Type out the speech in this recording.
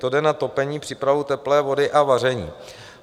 To jde na topení, přípravu teplé vody a vaření.